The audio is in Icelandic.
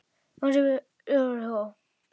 Jónsi bílstjóri hló.